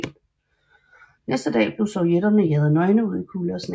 Næste dag blev sovjetterne jaget nøgne ud i kulde og sne